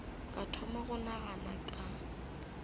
ka thoma go nagana ka